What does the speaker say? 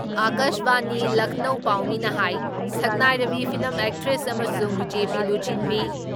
ꯑꯀꯥꯥꯁꯕꯥꯅꯤ ꯂꯈꯅꯧ ꯄꯥꯎꯃꯤꯅ ꯍꯥꯏ ꯁꯛꯅꯥꯏꯔꯕꯤ ꯐꯤꯂꯝ ꯑꯦꯛꯇ꯭ꯔꯦꯁ ꯑꯃꯁꯨꯡ ꯕꯤ.ꯖꯦ.ꯄꯤ. ꯂꯨꯆꯤꯡꯕꯤ